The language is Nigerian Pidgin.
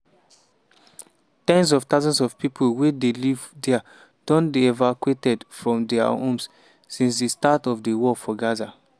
ten s of thousands of pipo wey dey live dia don dey evacuated from dia homes since di start of di war for gaza.